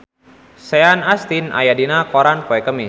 Sean Astin aya dina koran poe Kemis